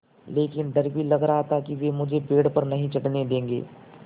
लेकिन डर भी लग रहा था कि वे मुझे पेड़ पर नहीं चढ़ने देंगे